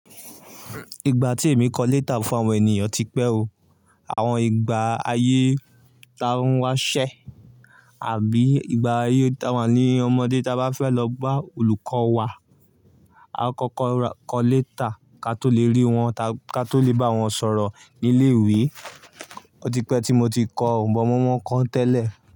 Ìgbà tí èmi kọ léétà fún àwọn ènìyàn ti pẹ́ o. Àwọn ìgbà ayé ta n wá ṣẹ́ àbí ìgbà ayé ta wà ní ọmọdé ta bá fẹ́ lọ bá olùkọ́ wa, a kọ́kọ́ kọ léétà ká to le rí wọn, ká to le bá wọn sọ̀rọ̀ ní ilé ìwé. O ti pẹ́ tí mo ti kọ́ Òǹbọ̀ mọ́mọ́n kon tẹ́lẹ̀